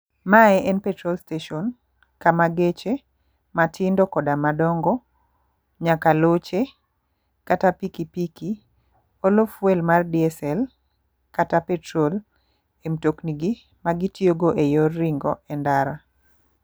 Mae en petrol station kama geche matindo koda madongo nyaka loche kata pikipiki olo fuel mar diesel kata petrol e mtokni gi magitiyo go e yore ringo e ndara.